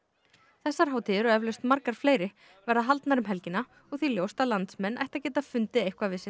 þessar hátíðir og eflaust margar fleiri verða haldnar um helgina og því ljóst að landsmenn ættu að finna eitthvað við sitt